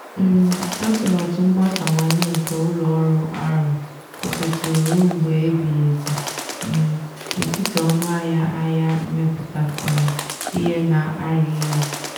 um atụmatụ mgbasawanye nke ụlọ ọrụ ahụ kwụsịtụrụ ruo mgbe ebighi ebi um n'etiti ọnụ ahịa ahịa mmepụta um ihe na-arị elu.